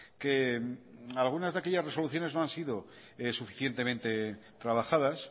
que algunas de aquellas resoluciones no han sido suficientemente trabajadas